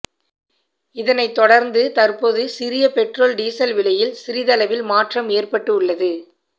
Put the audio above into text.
இதனை தொடர்ந்து தற்போது சிறிய பெட்ரோல் டீசல் விலையில் சிறிதளவில் மாற்றம் ஏற்பட்டு உள்ளது